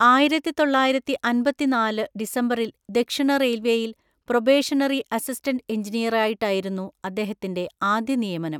ആയിരത്തിതൊള്ളായിരത്തിഅമ്പത്തിനാല് ഡിസംബറിൽ ദക്ഷിണ റെയിൽവേയിൽ പ്രൊബേഷണറി അസിസ്റ്റന്റ് എൻജിനീയറായിട്ടായിരുന്നു അദ്ദേഹത്തിന്റെ ആദ്യ നിയമനം.